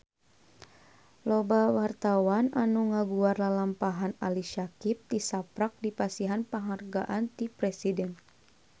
Loba wartawan anu ngaguar lalampahan Ali Syakieb tisaprak dipasihan panghargaan ti Presiden